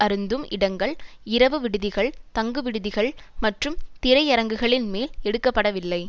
அருந்தும் இடங்கள் இரவு விடுதிகள் தங்கு விடுதிகள் மற்றும் திரை அரங்குகளின் மேல் எடுக்க படவில்லை